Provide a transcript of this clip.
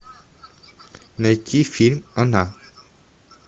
найти фильм она